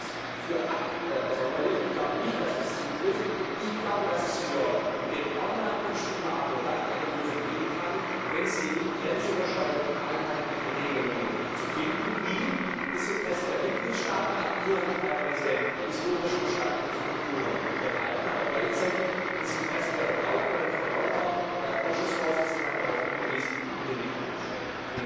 Ich halte das für absonderlich, ich glaube nicht, dass das zutrifft. Ich glaube, dass es für den Online Glücksspielmarkt nur dann eine Lösung geben kann, wenn es gelingt, grenzüberschreitend einheitliche Regelungen zu finden, die das Interesse der Mitgliedstaaten an ihren teilweise historisch entstandenen Strukturen wahren, aber gleichzeitig das Interesse der Verbraucherinnen und Verbraucher der Ausschussvorsitzende hat darauf hingewiesen in den Mittelpunkt stellen.